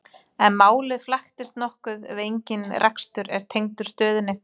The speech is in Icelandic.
En málið flækist nokkuð ef engin rekstur er tengdur stöðinni.